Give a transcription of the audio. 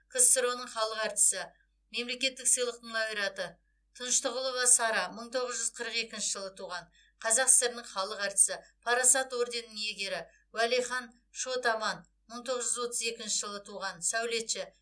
ксро ның халық әртісі мемлекеттік сыйлықтың лауреаты тыныштығұлова сара мың тоғыз жүз қырық екінші жылы туған қазақ сср інің халық әртісі парасат орденінің иегері уәлихан шот аман мың тоғыз жүз отыз екінші жылы туған сәулетші